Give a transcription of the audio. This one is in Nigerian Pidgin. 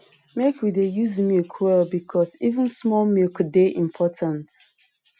make we dey use milk well because even small milk dey important